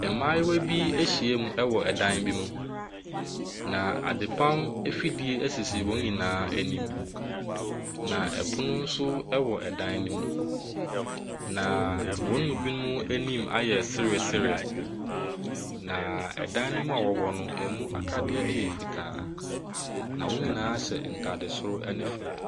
Mmaayewa bi ahyiam wɔ ɛdan bi mu, na adepam afidie sisi wɔn nyinaa anim. Na ɛpono nso wɔ dan no mu. Na wɔn mu binom anim ayɛ seresere. Na ɛdan no mu a wɔwɔ no, ɛmu akadeɛ yɛ fitaa. Na wɔn nyinaa hyɛ ntade soro ne fam.